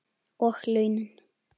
Og launin?